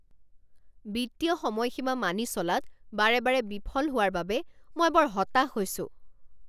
বিত্তীয় সময়সীমা মানি চলাত বাৰে বাৰে বিফল হোৱাৰ বাবে মই বৰ হতাশ হৈছোঁ।